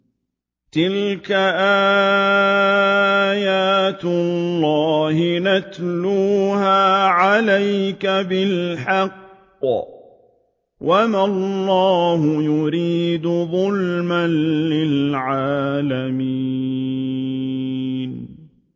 تِلْكَ آيَاتُ اللَّهِ نَتْلُوهَا عَلَيْكَ بِالْحَقِّ ۗ وَمَا اللَّهُ يُرِيدُ ظُلْمًا لِّلْعَالَمِينَ